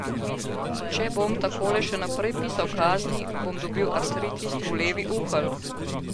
Če bom takole še naprej pisal kazni, bom dobil artritis v levi uhelj.